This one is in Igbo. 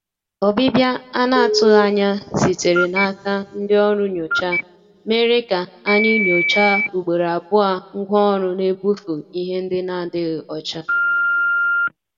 Ọ́bịbịá à nà-àtụghí ányá sítéré n’áká ndí ọ́rụ́ nyóchá mèré ká ànyị́ nyòcháá ùgbòró àbụọ́ ngwá ọ́rụ́ n’ébúfú íhé ndí n’àdíghí ọ́chá.